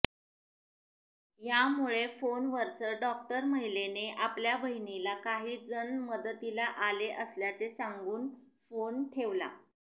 यामुळे फोनवरच डॉक्टर महिलेने आपल्या बहिणीला काही जण मदतीला आले असल्याचे सांगून फोन ठेवला